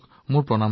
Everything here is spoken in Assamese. আপোনাৰ মাতৃকো